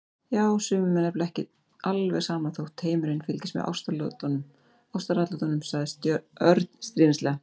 Já, sumum er nefnilega ekki alveg sama þótt heimurinn fylgist með ástaratlotunum sagði Örn stríðnislega.